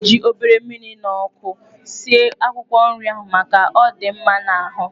A ga-eji obere mmiri na ọkụ sie akwụkwọ nrị ahụ, maka ọ dị mma n'ahụ.